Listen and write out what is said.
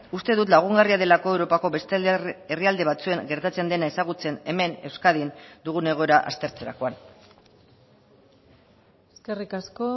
uste dut lagungarria delako europako beste herrialde batzuen gertatzen dena ezagutzen hemen euskadin dugun egoera aztertzerakoan eskerrik asko